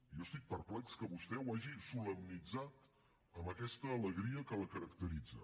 i jo estic perplex que vostè ho hagi solemnitzat amb aquesta alegria que la caracteritza